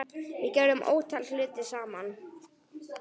Við gerðum ótal hluti saman.